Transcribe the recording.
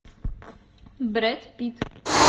брэд питт